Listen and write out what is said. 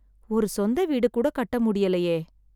ஒரு சொந்த வீடு கூட கட்ட முடியலையே.